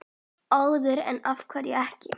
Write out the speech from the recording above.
Eða af hverju ekki?